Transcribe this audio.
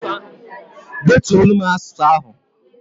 Detulo m asụsụ ahụ!